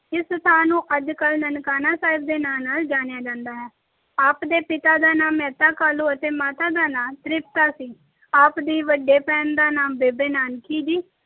ਇਸ ਸਥਾਨ ਨੂੰ ਅੱਜ ਕੱਲ੍ਹ ਨਨਕਾਣਾ ਸਾਹਿਬ ਦੇ ਨਾਂ ਨਾਲ ਜਾਣਿਆ ਜਾਂਦਾ ਹੈ। ਆਪ ਦੇ ਪਿਤਾ ਦਾ ਨਾਮ ਮਹਿਤਾ ਕਾਲੂ ਅਤੇ ਮਾਤਾ ਦਾ ਨਾਮ ਤ੍ਰਿਪਤਾ ਦੇਵੀ ਸੀ। ਆਪ ਦੀ ਵੱਡੇ ਭੈਣ ਦਾ ਨਾਮ ਬੇਬੇ ਨਾਨਕੀ ਜੀ,